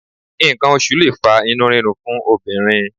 Nǹkan oṣù lè fa inú rírun fún obìnrin